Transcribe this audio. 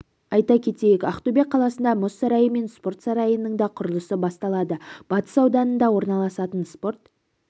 айта кетейік ақтөбе қаласында мұз сарайы мен спорт сарайының да құрылысы басталады батыс ауданында орналасатын спорт